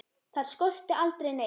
Þar skorti aldrei neitt.